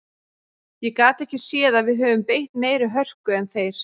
Ég gat ekki séð að við höfum beitt meiri hörku en þeir.